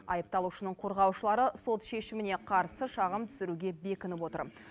айыпталушының қорғаушылары сот шешіміне қарсы шағым түсіруге бекініп отыр